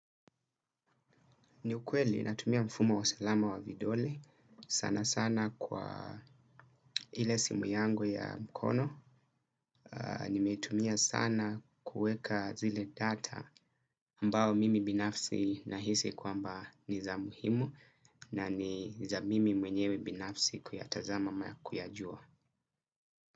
Ni ukweli natumia mfumo wa salama wa vidole sana sana kwa ile simu yangu ya mkono. Nimetumia sana kuweka zile data ambao mimi binafsi nahisi kwamba ni za muhimu na ni za mimi mwenyewe binafsi kuyatazama na kuyajua.